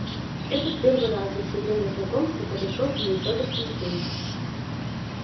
это в первый раз за все время знакомства подошёл к ней федор тимофеич